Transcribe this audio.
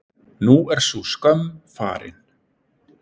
Nú er sú skömm farin.